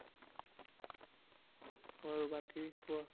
আৰু বাকী কোৱা।